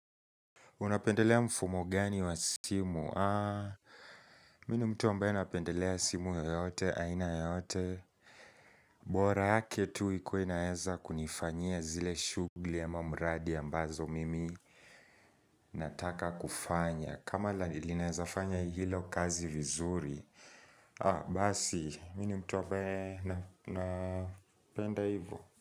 Unapendelea mfumo gani wa simu? Mimi ni mtu ambae napendelea simu yoyote, aina yoyote bora yake tu ikuwe inaweza kunifanyia zile shughuli ama mradi ambazo mimi Nataka kufanya, kama linaeza fanya hilo kazi vizuri Basi, mimi ni mtu ambae napenda hivyo.